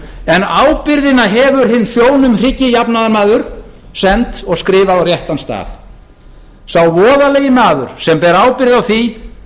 en ábyrgðina hefur hinn sjónum hryggi jafnaðarmaður sent og skrifað á réttan stað sá voðalegi maður sem ber ábyrgð á því